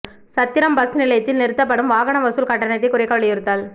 சத்திரம் bus நிலையத்தில் நிறுத்தப்படும் வாகன வசூல் கட்டணத்தை குறைக்க வலியுறுத்தல்